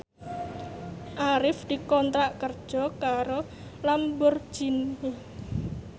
Arif dikontrak kerja karo Lamborghini